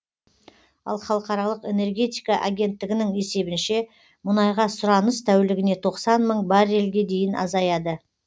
ал халықаралық энергетика агенттігінің есебінше мұнайға сұраныс тәулігіне тоқсан мың баррельге дейін азаяды